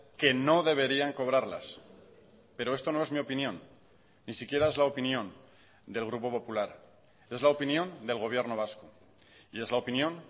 que no deberían cobrarlas pero esto no es mi opinión ni siquiera es la opinión del grupo popular es la opinión del gobierno vasco y es la opinión